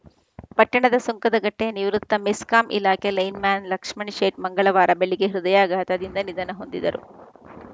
ಪಟ್ಟಣದ ಸುಂಕದಕಟ್ಟೆಯ ನಿವೃತ್ತ ಮೆಸ್ಕಾಂ ಇಲಾಖೆ ಲೈನ್‌ಮ್ಯಾನ್‌ ಲಕ್ಷ್ಮಣ ಶೇಟ್‌ ಮಂಗಳವಾರ ಬೆಳಗ್ಗೆ ಹೃದಯಾಘಾತದಿಂದ ನಿಧನ ಹೊಂದಿದರು